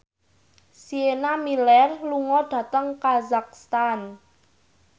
Sienna Miller lunga dhateng kazakhstan